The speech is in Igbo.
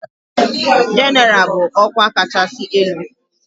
Jenéral ral bụ ọkwa kachasị elu.